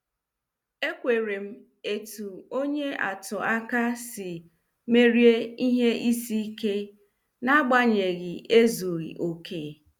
Ekwerem etu onye atụ aka sị merie ihe isi ike, n'agbanyeghị ezughị okè.